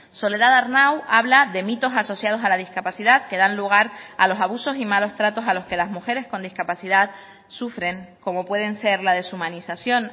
soledad arnau habla de mitos asociados a la discapacidad que dan lugar a los abusos y malos tratos a los que las mujeres con discapacidad sufren como pueden ser la deshumanización